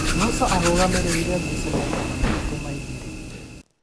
Musa arũgamĩrĩire ngucanio magana matatu ma igĩrĩ